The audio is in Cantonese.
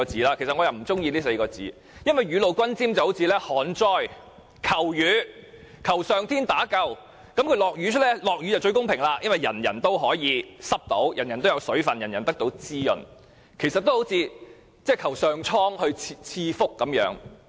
我卻不喜歡用這4個字，因為雨露均霑就像旱災求雨，求上天打救，一旦下雨便最公平了，因為人人也可以沾濕，也有水分，得到滋潤，就好像上蒼賜福一樣。